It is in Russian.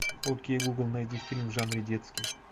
окей гугл найди фильм в жанре детский